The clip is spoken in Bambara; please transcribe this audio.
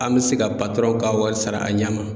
An bɛ se ka patɔrɔn ka wari sara a ɲɛ ma.